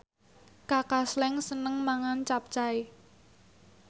Kaka Slank seneng mangan capcay